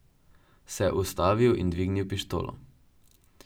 Se ustavil in dvignil pištolo.